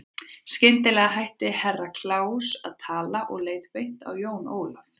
Skyndilega hætti Herra Kláus að tala og leit beint á Jón Ólaf.